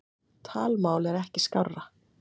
Talmál er ekki skárra.